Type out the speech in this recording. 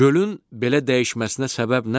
Gölün belə dəyişməsinə səbəb nədir?